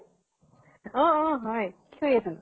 অ অ হয় । কি কৰি আছʼ ?